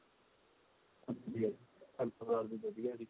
ਹਾਂਜੀ ਹਾਂਜੀ ਘਰ ਪਰਿਵਾਰ ਵੀ ਵਧੀਆ ਜੀ